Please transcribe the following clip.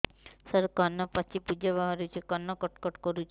ସାର କାନ ପାଚି ପୂଜ ବାହାରୁଛି କାନ କଟ କଟ କରୁଛି